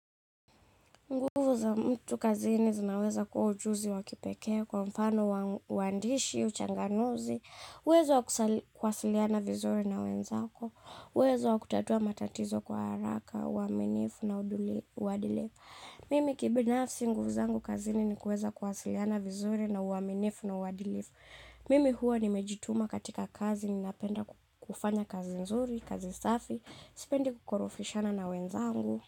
Nguvu za mtu kazini zinaweza kuwa ujuzi wa kipekee kwa mfano waandishi, uchanganuzi, uwezo wa kuwasiliana vizuri na wenzako, uwezo wa kutatua matatizo kwa haraka, uaminifu na uadilifu. Mimi kibinafsi nguvu zangu kazini ni kuweza kuwasiliana vizuri na uaminifu na uadilifu. Mimi huwa nimejituma katika kazi ninapenda kufanya kazi nzuri, kazi safi, sipendi kukorofishana na wenzangu.